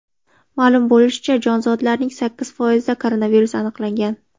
Ma’lum bo‘lishicha, jonzotlarning sakkiz foizida koronavirus aniqlangan.